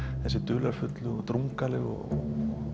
þessi dularfullu og drungalegu og